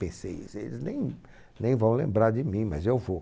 Pensei, eles eles nem nem vão lembrar de mim, mas eu vou.